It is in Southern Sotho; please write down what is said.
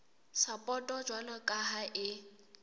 sapoto jwalo ka ha e